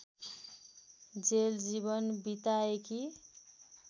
jail जीवन बिताएकी